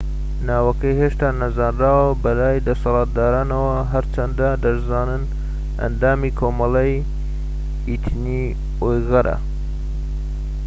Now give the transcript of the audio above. ناوەکەی هێشتا نەزانراوە بەلای دەسەڵاتدارانەوە هەرچەندە دەشزانن ئەندامی کۆمەڵەی ئیتنی ئویغورە